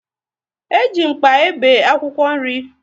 E ji mkpa e be akwụkwọ nri